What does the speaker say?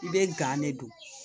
I bɛ de don